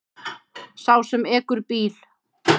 Sá sem ekur bíl.